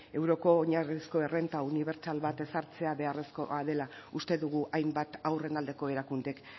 euroko oinarrizko errenta unibertsal bat ezartzea beharrezkoa dela uste dugu hainbat haurren aldeko erakundek